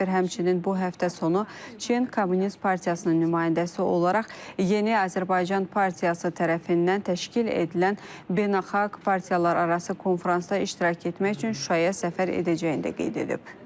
Səfir həmçinin bu həftə sonu Çin Kommunist Partiyasının nümayəndəsi olaraq Yeni Azərbaycan Partiyası tərəfindən təşkil edilən Beynəlxalq Partiyalararası Konfransda iştirak etmək üçün Şuşaya səfər edəcəyini də qeyd edib.